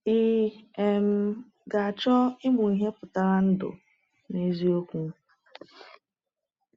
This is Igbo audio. Ị um ga-achọ ịmụ ihe pụtara ndụ n’eziokwu?